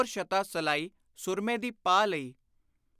ਸ਼ਤਾ ਸਲਾਈ ਸੁਰਮੇ ਦੀ ਪਾ ਲਈ।